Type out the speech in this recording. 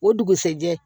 O dugusɛjɛ